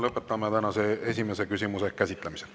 Lõpetame tänase esimese küsimuse käsitlemise.